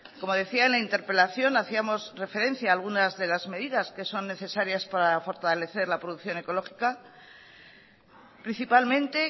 como decía en la interpelación hacíamos referencia a algunas de las medidas que son necesarias para fortalecer la producción ecológica principalmente